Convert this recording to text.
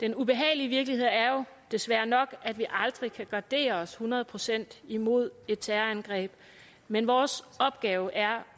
den ubehagelige virkelighed er jo desværre nok at vi aldrig kan gardere os hundrede procent imod et terrorangreb men vores opgave er